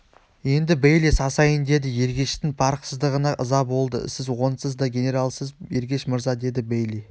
енді бейли сасайын деді ергештің парықсыздығына ыза болды сіз онсыз да генералсыз ергеш мырза деді бейли